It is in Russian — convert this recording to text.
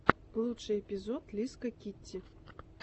лучший эпизод лиска китти